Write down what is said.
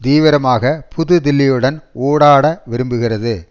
தீவிரமாக புது தில்லியுடன் ஊடாட விரும்புகிறது